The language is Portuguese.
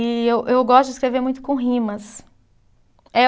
E eu eu gosto de escrever muito com rimas.